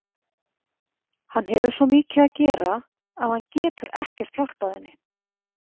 Hann hefur svo mikið að gera að hann getur ekkert hjálpað henni.